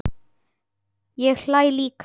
Ég hlæ líka.